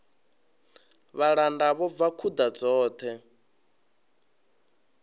vhalanda vho bva khuḓa dzoṱhe